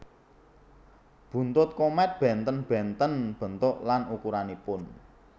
Buntut komèt bènten bènten bentuk lan ukuranipun